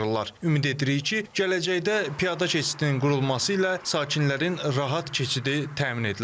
Ümid edirik ki, gələcəkdə piyada keçidinin qurulması ilə sakinlərin rahat keçidi təmin edilər.